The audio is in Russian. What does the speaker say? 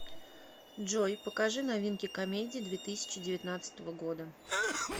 джой покажи новинки комедий две тысячи девятнадцатого года